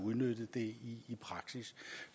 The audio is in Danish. det